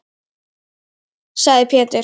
sagði Pétur.